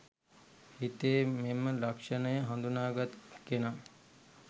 හිතේ මෙම ලක්ෂණය හඳුනාගත් කෙනා